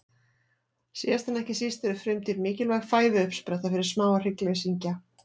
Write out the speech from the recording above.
Síðast en ekki síst eru frumdýr mikilvæg fæðuuppspretta fyrir smáa hryggleysingja.